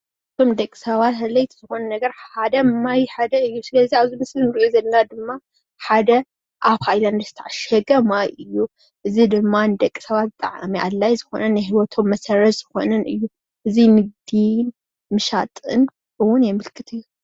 ንደቂ ሰባት ኣድለይቲ ካብ ዝኮኑ ማይ ሓደ እዩ ኣብዚ እንሪኦ ዘለና ድማ ሓደ ኣብ ሃይላንድ ዝተዓሸገ ማይ እዩ፣ እዙይ ድማ ንደቂ ሰባት ብጣዕሚ ኣድላይ ዝኮነ ናይ ሂወቶም መሰረት ዝኮነ እዩ እዙይ ንግዲ ምሻጥን እውን የመልክት እዩ፡፡